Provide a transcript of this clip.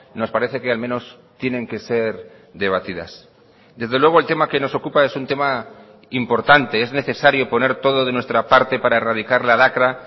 nos parece que al menos tienen que ser debatidas desde luego el tema que nos ocupa es un tema importante es necesario poner todo de nuestra parte para erradicar la lacra